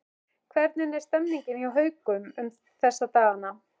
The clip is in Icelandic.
Hvernig er stemningin hjá Haukum um þessa dagana?